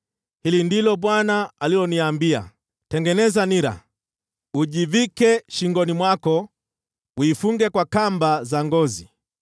Hili ndilo Bwana aliloniambia: “Tengeneza nira, ujivike shingoni mwako, uifunge kwa kamba za ngozi.